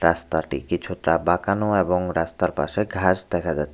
রাস্তাটি কিছুটা বাঁকানো এবং রাস্তার পাশে ঘাস দেখা যা--